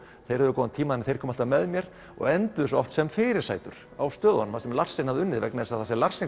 þeir höfðu góðan tíma en þeir komu alltaf með mér og enduðu oft sem fyrirsætur á stöðunum þar sem Larsen hafði unnið vegna þess að þar sem